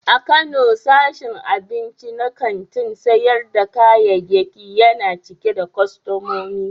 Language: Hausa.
A Kano, sashin abinci na kantin sayar da kayayyaki yana cike da kwastomomi.